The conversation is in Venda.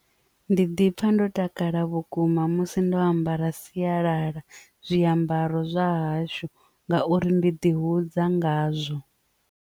Ndi ḓi pfha ndo takala vhukuma musi ndo ambara sialala zwiambaro zwa hashu ngauri ndi ḓi hudza ngazwo.